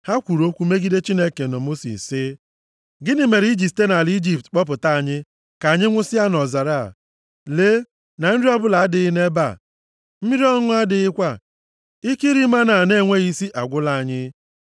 Ha kwuru okwu megide Chineke na Mosis sị, “Gịnị mere i ji site nʼala Ijipt kpọpụta anyị ka anyị nwụsịa nʼọzara a? Lee na nri ọbụla adịghị nʼebe a, mmiri ọṅụṅụ adịghịkwa, ike iri mánà a na-enweghị isi agwụkwala anyị.”